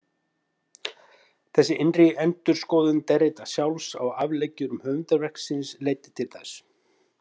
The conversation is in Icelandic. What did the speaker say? Þessi innri endurskoðun Derrida sjálfs á afleggjurum höfundarverks síns leiddi til þess.